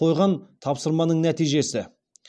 қойған тапсырманың нәтижесі